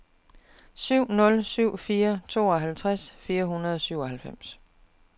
syv nul syv fire tooghalvtreds fire hundrede og syvoghalvfems